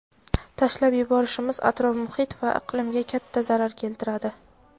tashlab yuborishimiz atrof-muhit va iqlimga katta zarar keltiradi.